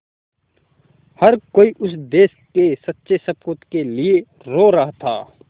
हर कोई उस देश के सच्चे सपूत के लिए रो रहा था